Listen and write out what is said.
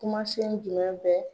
Kumasen jumɛn bɛ